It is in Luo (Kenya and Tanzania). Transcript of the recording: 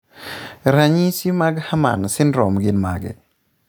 Ranyisi mag Herrmann syndrome gin mage?